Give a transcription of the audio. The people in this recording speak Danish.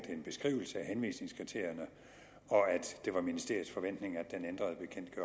en beskrivelse af henvisningskriterierne og at det var ministeriets forventning at den